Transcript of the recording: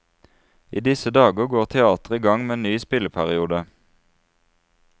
I disse dager går teatret i gang med en ny spilleperiode.